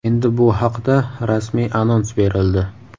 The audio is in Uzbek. Endi bu haqda rasmiy anons berildi.